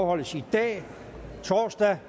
afholdes i dag torsdag